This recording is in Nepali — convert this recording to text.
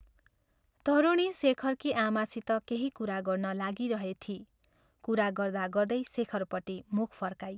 तरुणी शेखरकी आमासित केही कुरा गर्न लागिरहिथी कुरा गर्दा गर्दै शेखरपट्टि मुख फर्काई।